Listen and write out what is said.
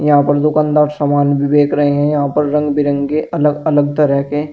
यहां पर दुकानदार सामान भी बेक रहे हैं यहां पर रंग बिरंगे अलग अलग तरह के--